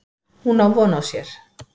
Hún á von á sér.